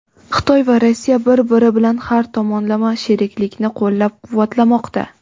Xitoy va Rossiya bir-biri bilan har tomonlama sheriklikni qo‘llab-quvvatlamoqda.